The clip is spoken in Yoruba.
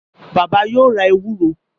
Bàbá yóò ra ewúro.